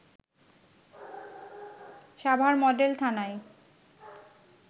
Savar model থানায়